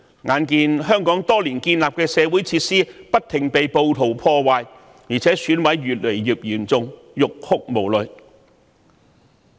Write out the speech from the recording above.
眼見香港多年建立的社會設施不停被暴徒破壞，而且損毀情況越來越嚴重，實在欲哭無淚。